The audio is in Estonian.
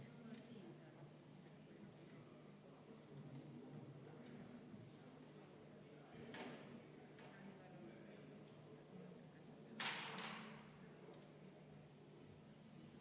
See on kõige pesuehtsam näide halvast seadusloome praktikast, kui ühele seadusele liidetakse juurde sinna absoluutselt mittekuuluvad asjad.